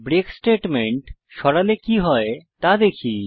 break statement সরালে কি হয় তা দেখি